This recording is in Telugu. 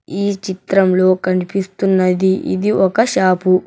ఈ చిత్రంలో కనిపిస్తున్నది ఇది ఒక షాపు .